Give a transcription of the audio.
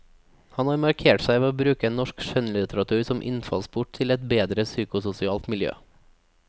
Han har markert seg ved å bruke norsk skjønnlitteratur som innfallsport til et bedre psykososialt miljø.